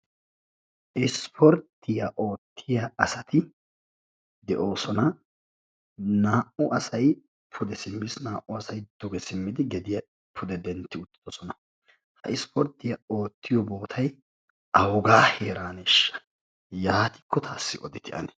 Ispporttiya oottiya asati de"oosona. Naa"u asayi pude simmis naa"u asayi duge simmidi gediya pude dentti utti uttidosona. Ha ispporttiya oottiyo bootayi awugaa heeraaneeshsha yaatikko taassi odite ane